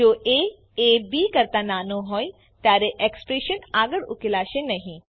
જો એ A B કરતા નાનો હોય ત્યારે એક્સપ્રેશન આગળ ઉકેલાશે નહી